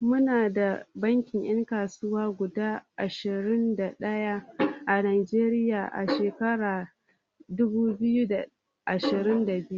Muna da bankunan 'yan kasuwa guda ashirin da ɗaya a Najeriya a shekarar dubu biyu da ashirin da biyu.